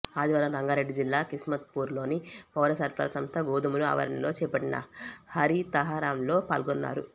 ఆదివారం రంగారెడ్డి జిల్లా కిస్మత్పురాలోని పౌరసరఫరాల సంస్థ గోదాముల ఆవరణలో చేపట్టిన హరితహారంలో పాల్గొన్నారు